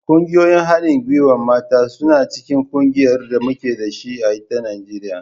Ƙungiyoyin haɗin gwiwar mata suna cikin ƙungiyar da muke da ita a Najeriya.